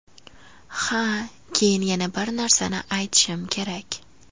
Ha, keyin yana bir narsani aytishim kerak.